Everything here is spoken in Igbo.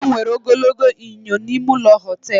E nwere ogologo enyo nọ n'ime ụlọ họtelụ m.